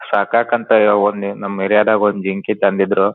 ಸಾಕಾಕ್ ಅಂತ ನಮ್ ಏರಿಯಾದಾಗ ಒಂದ್ ಜಿಂಕೆ ತಂದಿದ್ರು.